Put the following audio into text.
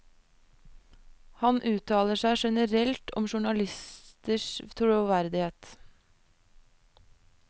Han uttaler seg generelt om journalisters troverdighet.